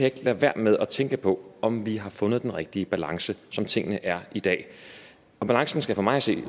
ikke lade være med at tænke på om vi har fundet den rigtige balance som tingene er i dag balancen skal for mig at se